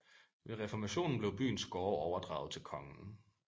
Ved Reformationen blev byens gårde overdraget til kongen